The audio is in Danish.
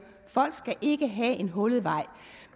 folk skal ikke have en hullet vej